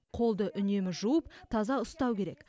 қолды үнемі жуып таза ұстау керек